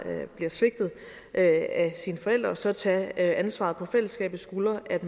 der bliver svigtet af sine forældre så at tage ansvaret på fællesskabets skuldre og at